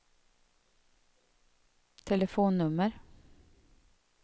telefonnummer